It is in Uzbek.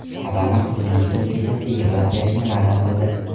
Obama qizining bitiruv kechasida yig‘lab berishni va’da qildi.